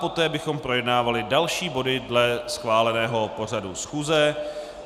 Poté bychom projednávali další body dle schváleného pořadu schůze.